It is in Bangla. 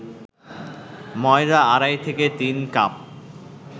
ময়দা আড়াই থেকে তিন কাপ